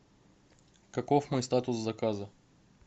каков мой статус заказа